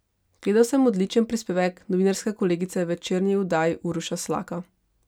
Gledal sem odličen prispevek novinarske kolegice v večerni oddaji Uroša Slaka.